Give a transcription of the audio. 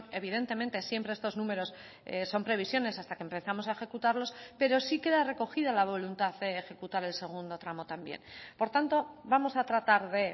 evidentemente siempre estos números son previsiones hasta que empezamos a ejecutarlos pero sí queda recogida la voluntad de ejecutar el segundo tramo también por tanto vamos a tratar de